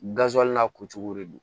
n'a ko cogo de don